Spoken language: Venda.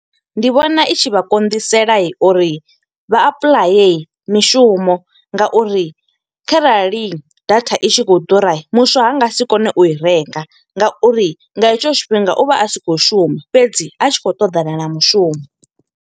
Ndi vhona i tshi vha konḓisela uri vha apuḽaye mishumo, nga uri kharali data i tshi khou ḓura, muswa ha nga si kone u i renga. Nga uri nga hetsho tshifhinga u vha si khou shuma, fhedzi a tshi khou ṱoḓana na mushumo.